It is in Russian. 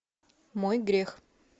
мой грех